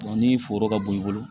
ni foro ka bon i bolo